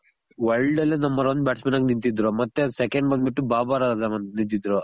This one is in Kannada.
world ಅಲ್ಲಿ number one bats man ಆಗ್ ನಿಂತಿದ್ದ್ರು ಮತ್ತೆsecond ಬಂದ್ ಬಿಟ್ಟು ಬಾಬ ರಾಜ ನಿಂತಿದ್ರು.